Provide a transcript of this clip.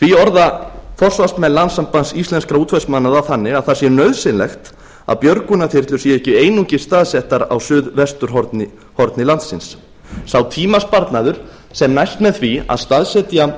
því orða forsvarsmenn landssambands íslenskra útvegsmanna það þannig að það sé nauðsynlegt að björgunarþyrlur séu ekki einungis staðsettar á suðvesturhorni landsins sá tímasparnaður sem næst með því að staðsetja